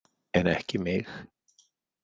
En ekki mig.